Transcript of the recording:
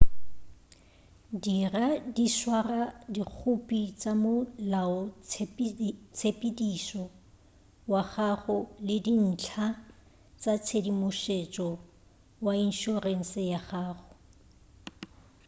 dira le go swara dikhophi tša molaotshepedišo wa gago le dintlha tša tshedimušo ya inšorense ya gago